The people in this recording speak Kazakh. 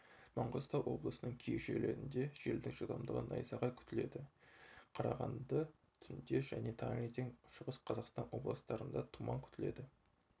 маңғыстау облысының кей жерлерінде желдің жылдамдығы найзағай күтіледі қарағанды түнде және таңертең шығыс-қазақстан областырында тұман күтіледі